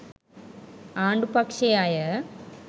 ආණ්ඩු පක්ෂයේ අය